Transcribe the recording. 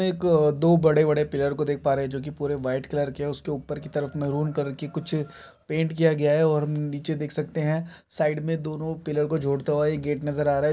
एक दो बड़े-बड़े पेड़ को देख पा रहे है जो की पुरे व्हाइट कलर के है उसके ऊपर की तरफ मरून कलर की कुछ पेंट किया गया है और निचे देख सकते है साइड में दोनों पिलर को जोड़ता हुआ एक गेट नजर आ रहा है।